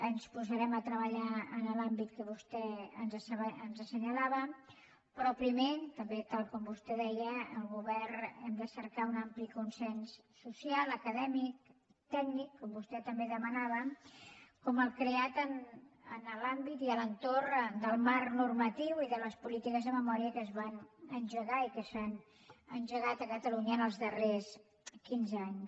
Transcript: ens posarem a treballar en l’àmbit que vostè ens assenyalava però primer tal com vostè deia el govern hem de cercar un ampli consens social acadèmic tècnic com vostè també demanava com el creat en l’àmbit i a l’entorn del marc normatiu i de les polítiques de memòria que es van engegar i que s’han engegat a catalunya els darrers quinze anys